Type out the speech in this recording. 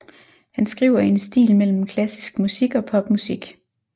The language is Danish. Han skriver i en stil mellem klassisk musik og pop musik